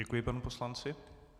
Děkuji panu poslanci.